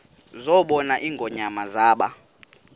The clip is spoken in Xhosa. zabona ingonyama zaba